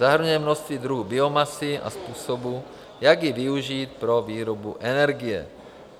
Zahrnuje množství druhů biomasy a způsobů, jak ji využít pro výrobu energie.